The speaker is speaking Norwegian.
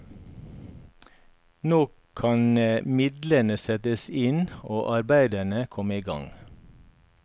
Nå kan midlene settes inn og arbeidene komme gang.